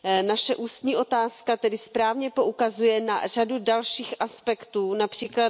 Naše ústní otázka tedy správně poukazuje na řadu dalších aspektů, např.